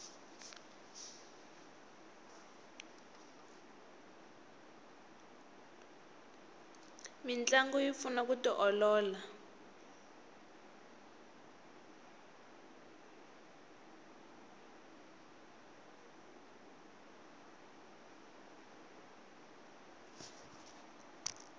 mintlangu yi pfuna ku tiolola